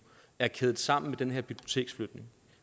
er kædet sammen med den her biblioteksflytning